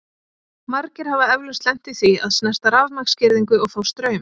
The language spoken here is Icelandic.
Margir hafa eflaust lent í því að snerta rafmagnsgirðingu og fá straum.